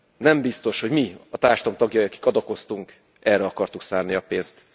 Nem biztos, hogy mi, a társadalom tagjai, akik adakoztunk, erre akartuk szánni a pénzt.